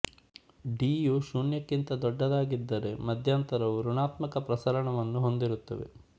D u ಶೂನ್ಯಕ್ಕಿಂತ ದೊಡ್ಡದಾಗಿದ್ದರೆ ಮಧ್ಯಂತರವು ಋಣಾತ್ಮಕ ಪ್ರಸರಣ ವನ್ನು ಹೊಂದಿರುತ್ತದೆ